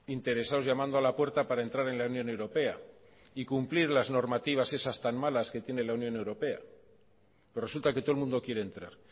interesados llamando a la puerta para entrar en la unión europea y cumplir las normativas esas tan malas que tiene la unión europea resulta que todo el mundo quiere entrar